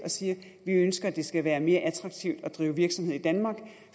siger at vi ønsker det skal være mere attraktivt at drive virksomhed i danmark